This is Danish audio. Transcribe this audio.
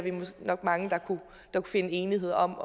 nok mange der kunne nå til enighed om